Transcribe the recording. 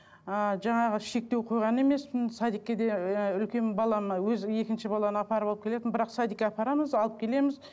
ы жаңағы шектеу қойған емеспін садикке де ыыы үлкен балам өзі екінші баланы апарып алып келетін бірақ садикке апарамыз алып келеміз